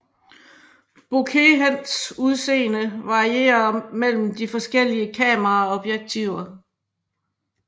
Bokehens udseende varierer mellem de forskellige kameraobjektiver